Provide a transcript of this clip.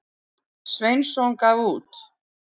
Sveinsson gaf út.